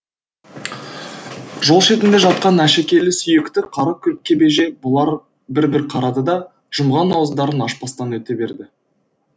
жол шетінде жатқан әшекейлі сүйекті қара кебежеге бұлар бір бір қарады да жұмған ауыздарын ашпастан өте берді